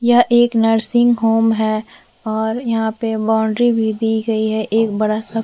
यह एक nursing home है और यहाँ पर बाउंड्री भी दी गई है एक बड़ा सा --